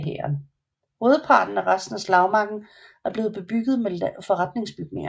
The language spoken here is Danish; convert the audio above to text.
Hovedparten af resten af slagmarken er blevet bebygget med forretningsbygninger